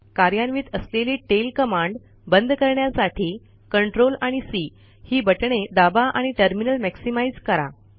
कार्यान्वित असलेली tail command बंद करण्यासाठी Ctrl आणि सी ही बटणे दाबा आणि टर्मिनल मॅक्सिमाइझ करा